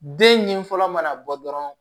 Den ɲini fɔlɔ mana bɔ dɔrɔn